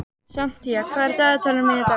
Santía, hvað er í dagatalinu mínu í dag?